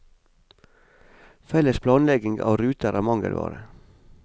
Felles planlegging av ruter er mangelvare.